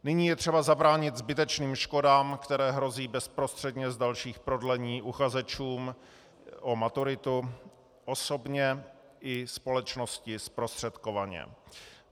Nyní je třeba zabránit zbytečným škodám, které hrozí bezprostředně z dalších prodlení uchazečům o maturitu osobně i společnosti zprostředkovaně.